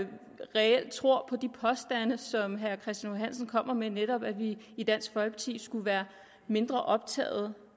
reelt tror på de påstande som herre christian h hansen kommer med nemlig at vi i dansk folkeparti skulle være mindre optagede